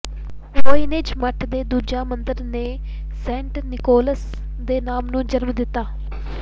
Voynich ਮੱਠ ਦੇ ਦੂਜਾ ਮੰਦਰ ਨੇ ਸੇਂਟ ਨਿਕੋਲਸ ਦੇ ਨਾਮ ਨੂੰ ਜਨਮ ਦਿੱਤਾ